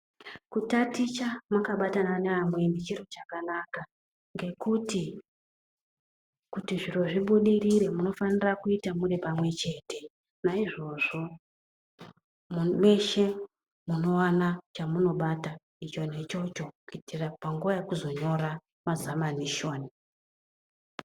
Kutaticha makabatana nevamweni chiro chakanaka, ngekuti kutizviro zvibudirire munofana kuita muri pamwe chete. Naizvozvo, mweshe munowana chamunobata, icho nechocho, kuitira panguva yekuzonyora zamanishoni.